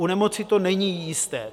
U nemoci to není jisté.